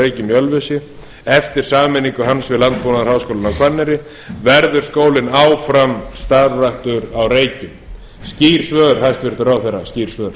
reykjum í ölfusi eftir sameiningu hans við landbúnaðarháskólann á hvanneyri verður skólinn áfram starfræktur á reykjum skýr svör hæstvirtur ráðherra skýr svör